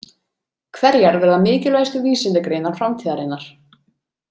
Hverjar verða mikilvægustu vísindagreinar framtíðinnar?